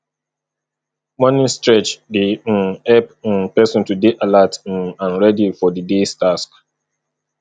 morning stretch dey um help um person to dey alert um and ready for di days tasks